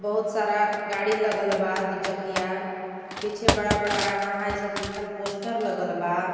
बहुत सारा गाड़ी लगल बा दुचकिया पीछे बड़ा - बड़ा यमाहा इ सब लिखल पोस्टर लगल बा.